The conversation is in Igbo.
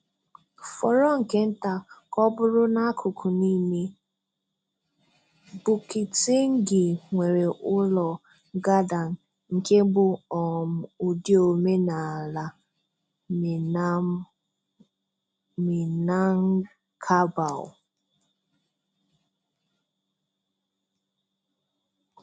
Fọrọ nke nta ka ọ bụrụ n’akụkụ niile, Bukittinggi nwere ụlọ Gadang nke bụ um ụdị omenala Minang Minangkabau.